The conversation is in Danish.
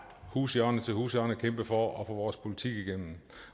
hushjørne til hushjørne kæmpe for at få vores politik igennem